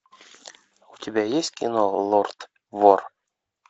у тебя есть кино лорд вор